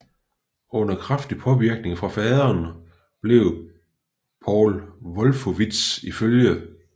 Under kraftig påvirkning fra faderen blev Paul Wolfowitz iflg